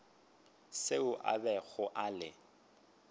seo a bego a le